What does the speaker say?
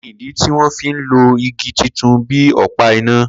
Kini idi ti wọn fi lo igi titun bi ọpa ina?